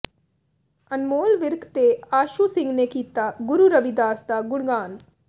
ਅਨਮੋਲ ਵਿਰਕ ਤੇ ਆਸ਼ੂ ਸਿੰਘ ਨੇ ਕੀਤਾ ਗੁਰੂ ਰਵਿਦਾਸ ਦਾ ਗੁਣਗਾਨ